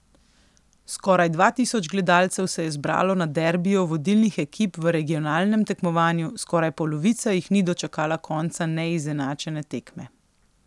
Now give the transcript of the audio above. Skoraj dva tisoč gledalcev se je zbralo na derbiju vodilnih ekip v regionalnem tekmovanju, skoraj polovica jih ni dočakala konca neizenačene tekme.